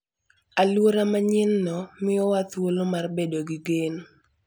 Alwora manyienno miyowa thuolo mar bedo gi geno.